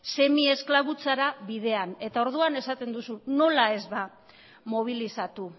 semiesklabutzara bidean eta orduan esaten duzu nola ez ba mobilizatu